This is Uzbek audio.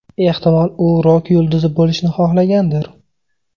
Ehtimol, u rok yulduzi bo‘lishni xohlagandir?